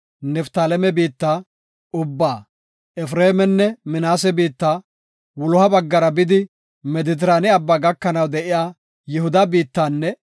Niftaaleme biitta ubbaa, Efreemenne Minaase biitta, wuloha baggara bidi Medetiraane Abbaa gakanaw de7iya Yihuda biittanne